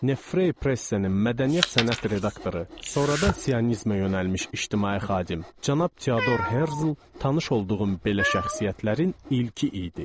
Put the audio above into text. Nefre Press-in mədəniyyət sənət redaktoru, sonradan sionizmə yönəlmiş ictimai xadim cənab Teador Herzl tanış olduğum belə şəxsiyyətlərin ilki idi.